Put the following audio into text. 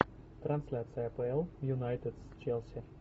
трансляция апл юнайтед с челси